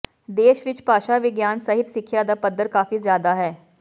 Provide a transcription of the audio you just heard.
ਦੇਸ਼ ਵਿਚ ਭਾਸ਼ਾ ਵਿਗਿਆਨ ਸਹਿਤ ਸਿੱਖਿਆ ਦਾ ਪੱਧਰ ਕਾਫੀ ਜ਼ਿਆਦਾ ਹੈ